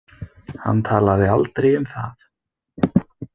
Hann talaði aldrei um það.